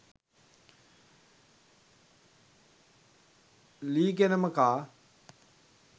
ල්ලීගෙනම කා